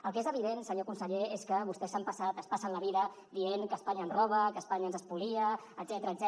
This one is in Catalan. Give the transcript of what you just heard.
el que és evident senyor conseller és que vostès s’han passat es passen la vida dient que espanya ens roba que espanya ens espolia etc